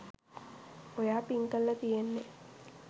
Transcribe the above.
ඔයා පින්ග් කරල තියෙන්නේ